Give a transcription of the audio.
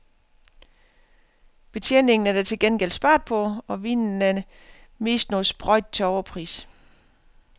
Betjeningen er der til gengæld sparet på, og vinen er mest noget sprøjt til overpris.